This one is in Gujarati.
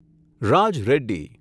રાજ રેડ્ડી